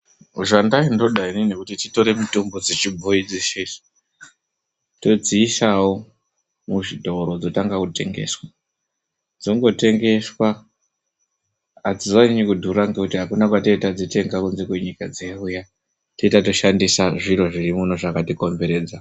Zvandaindoda inini kuti titore mitombo dzechibhoyi dzeshe idzo todziisawo muzvitoro dzotanga kutengeswa. Dzongotengeswa adzizonyanyi kudhura ngekuti akuna kwatinenge tadzitenga kunze kwenyika dzeuya. Tetatoshandisa zviro zviri muno zvakatikomberedza.